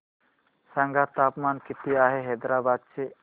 सांगा तापमान किती आहे हैदराबाद चे